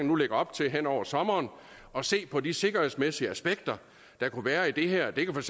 nu lægger op til hen over sommeren at se på de sikkerhedsmæssige aspekter der kunne være i det her det kunne